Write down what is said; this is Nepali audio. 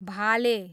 भाले